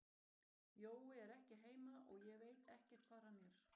Jói er ekki heima og ég veit ekkert hvar hann er.